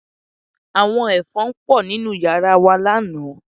Àwọn Ẹ̀fọn pọ̀ nínú yàrá wa lánàá